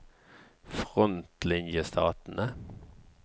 frontlinjestatene